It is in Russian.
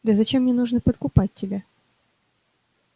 да зачем мне нужно подкупать тебя